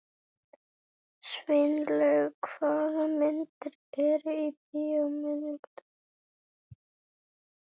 Sveinlaug, hvaða myndir eru í bíó á miðvikudaginn?